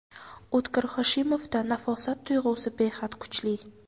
O‘tkir Hoshimovda nafosat tuyg‘usi behad kuchli.